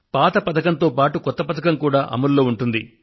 పాత పథకంతో పాటు కొత్త పథకం కూడా అమలులో ఉంటుంది